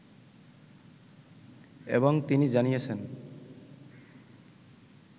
এবং তিনি জানিয়েছেন